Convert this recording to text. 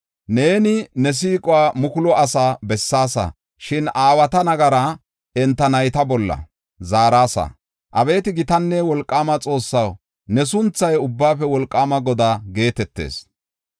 Neeni ne siiquwa mukulu asaas bessaasa; shin aawata nagaraa enta nayta bolla zaarasa. Abeeti gitanne wolqaama Xoossaw, ne sunthay Ubbaafe Wolqaama Godaa geetetees.